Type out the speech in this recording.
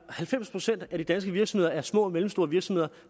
halvfems procent af de danske virksomheder er små og mellemstore virksomheder